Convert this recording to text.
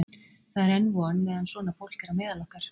Það er enn von meðan svona fólk er á meðal okkar!